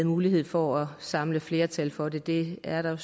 mulighed for at samle flertal for det det er der